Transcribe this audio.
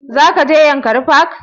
Za ka je yankari park?